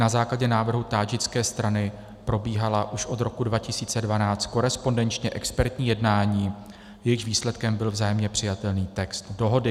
Na základě návrhu tádžické strany probíhala už od roku 2012 korespondenčně expertní jednání, jejichž výsledkem byl vzájemně přijatelný text dohody.